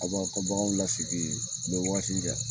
A b'aw ka bagan lasigi u bɛ waati kɛ